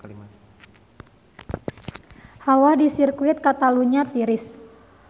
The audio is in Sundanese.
Hawa di Sirkuit Katalunya tiris